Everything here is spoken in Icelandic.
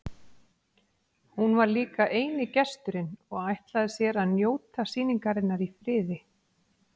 Hún var líka eini gesturinn og ætlaði sér að njóta sýningarinnar í friði.